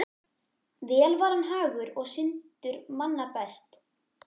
Vel var hann hagur og syndur manna best.